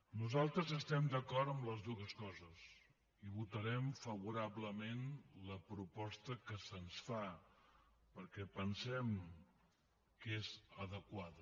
nosaltres estem d’acord amb les dues coses i votarem favorablement la proposta que se’ns fa perquè pensem que és adequada